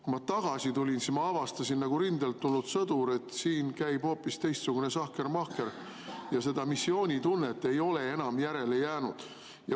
Kui ma tagasi tulin, siis ma avastasin nagu rindelt tulnud sõdur, et siin käib hoopis mingisugune sahkermahker ja missioonitundest ei ole enam midagi järele jäänud.